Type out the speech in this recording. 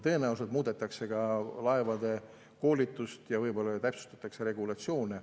Tõenäoliselt muudetakse koolitust ja võib-olla täpsustatakse regulatsioone.